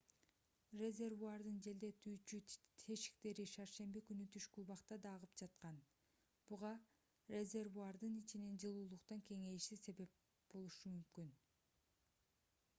резервуардын желдетүүчү тешиктери шаршемби күнү түшкү убакта да агып жаткан буга резервуардын ичинин жылуулуктан кеңейиши себеп болушу мүмкүн